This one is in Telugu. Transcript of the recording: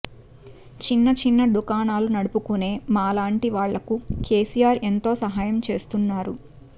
చిన్నచిన్న దుకాణాలు నడుపుకునే మాలాంటి వాళ్లకు కేసీఆర్ ఎంతో సహాయం చేస్తున్నారు